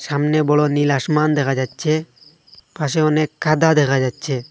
সামনে বড় নীল আসমান দেখা যাচ্ছে পাশে অনেক কাদা দেখা যাচ্ছে।